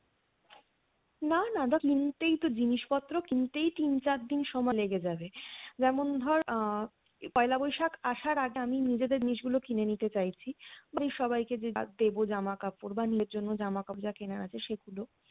না না না দেখ কিনতেই তোর জিনিসপত্র কিনতেই তিন চার দিন সময় লেগে যাবে যেমন ধর আহ পয়লা বৈশাখ আসার আগে আমি নিজেদের জিনিস গুলো কিনে নিতে চাইছি ওই সবাইকে যা দেবো জামা কাপড় বা নিজের জন্য জামা কাপড় যা কেনার আছে সেগুলো